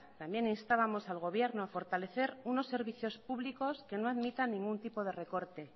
también instábamos al gobierno a fortalecer unos servicios públicos que no admitan ningún tipo de recorte